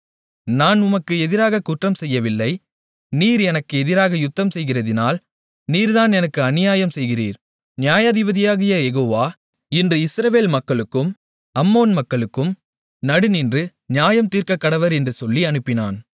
நான் உமக்கு எதிராகக் குற்றம் செய்யவில்லை நீர் எனக்கு எதிராக யுத்தம்செய்கிறதினால் நீர்தான் எனக்கு அநியாயம் செய்கிறீர் நியாயாதிபதியாகிய யெகோவா இன்று இஸ்ரவேல் மக்களுக்கும் அம்மோன் மக்களுக்கும் நடுநின்று நியாயம் தீர்க்கக்கடவர் என்று சொல்லி அனுப்பினான்